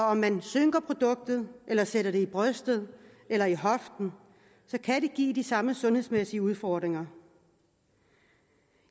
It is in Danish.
om man synker produktet eller sætter det i brystet eller i hoften kan det give de samme sundhedsmæssige udfordringer